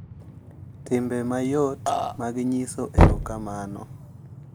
Timbe mayot mag nyiso erokamano,